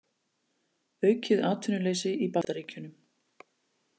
Aukið atvinnuleysi í Bandaríkjunum